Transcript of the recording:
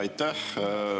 Aitäh!